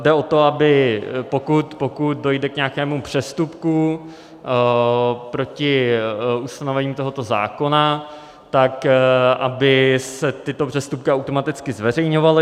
Jde o to, aby, pokud dojde k nějakému přestupku proti ustanovením tohoto zákona, tak aby se tyto přestupky automaticky zveřejňovaly.